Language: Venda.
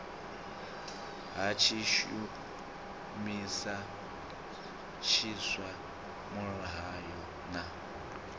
ha tshishumisa tshiswa muhayo na